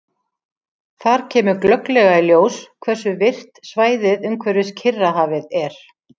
Þar kemur glögglega í ljós hversu virkt svæðið umhverfis Kyrrahafið er.